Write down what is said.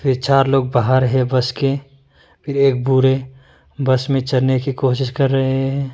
चार लोग बाहर है बस के फिर एक बूढ़े बस में चने की कोशिश कर रहे हैं।